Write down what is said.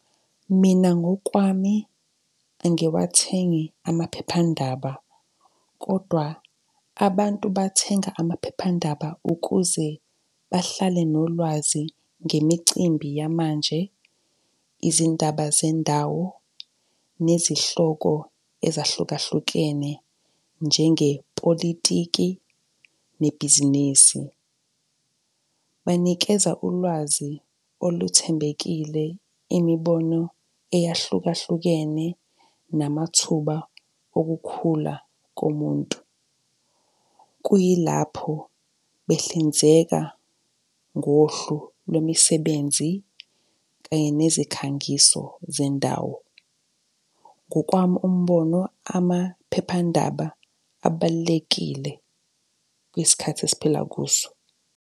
Mina ngokwami, angiwathengi amaphephandaba kodwa abantu bathenga amaphephandaba ukuze bahlale nolwazi ngemicimbi yamanje, izindaba zendawo, nezihloko ezahlukahlukene njengepolitiki, nebhizinisi. Banikeza ulwazi oluthembekile imibono eyahlukahlukene namathuba okukhula komuntu. Kuyilapho behlinzeka ngohlu lwemisebenzi kanye nezinkangiso zendawo. Ngokwami umbono amaphephandaba abalulekile kwisikhathi esiphila kuso.